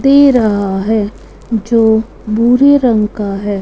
दे रहा है जो भूरे रंग का है।